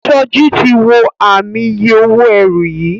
Soji tí wọ Ààmì iye owó ẹrù yí.